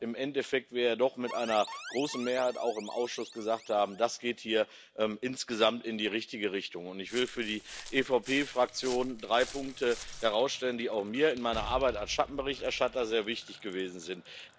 Aber im Endeffekt haben wir ja doch mit einer großen Mehrheit auch im Ausschuss gesagt, dass das hier insgesamt in die richtige Richtung geht. Und ich will für die EVP Fraktion drei Punkte herausstellen, die auch mir in meiner Arbeit als Schattenberichterstatter sehr wichtig gewesen sind.